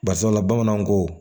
Barisabula bamananw ko